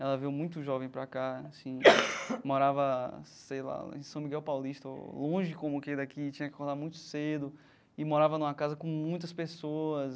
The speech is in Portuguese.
Ela veio muito jovem para cá, assim, morava, sei lá, lá em São Miguel Paulista, longe como que daqui aqui, tinha que acordar muito cedo e morava numa casa com muitas pessoas.